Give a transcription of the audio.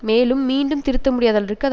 மேலும் மீண்டும் திருத்தமுடியாதளவிற்கு அது